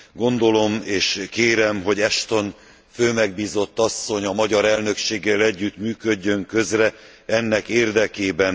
Gondolom és kérem, hogy Ashton főmegbízott asszony a magyar elnökséggel együtt működjön közre ennek érdekében.